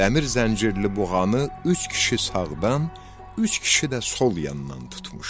Dəmir zəncirli buğanı üç kişi sağdan, üç kişi də sol yandan tutmuşdu.